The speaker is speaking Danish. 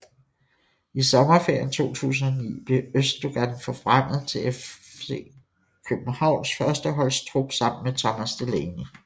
I sommerferien 2009 blev Özdogan forfremmet til FC Københavns førsteholds trup sammen med Thomas Delaney